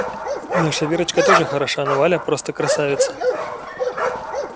наша верочка тоже хороша но валя просто красавица